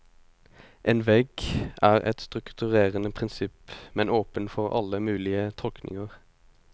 En vegg er et strukturerende prinsipp, men åpen for alle mulige tolkninger.